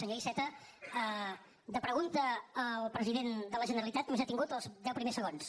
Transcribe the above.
senyor iceta de pregunta al president de la generalitat només ha tingut els deu primers segons